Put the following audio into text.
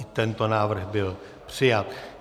I tento návrh byl přijat.